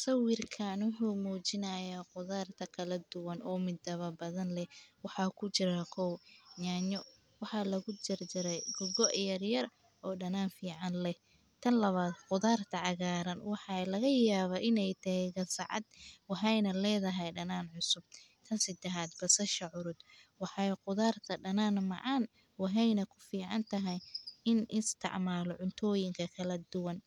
Sawiirkaan wuxuu mujinaaya qudaarta kala duban oo midaba badan leh, waxaa kujiro, kow nyanyo, waxaa lagu jarjare go yaryar oo danaan fican leh, tan labaad qudaarta cagaaran waxaa laga yaaba inaay tahay gasacad, waxaayna ledahay danaan cusub, tan sadexaad basasha, waxaay qudaarta macaan waxaayna kufican tahay in isticmaalo cunooyinka kala duban,